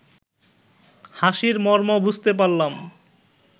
হাসির মর্ম বুঝতে পারলাম